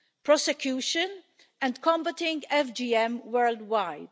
prosecution and combating FGM worldwide.